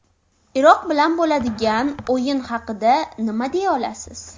Iroq bilan bo‘ladigan o‘yin haqida nima deya olasiz?